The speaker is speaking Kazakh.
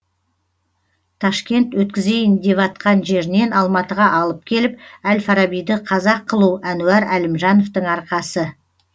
ташкент өткізейін деватқан жерінен алматыға алып келіп әл фарабиді қазақ қылу әнуар әлімжановтың арқасы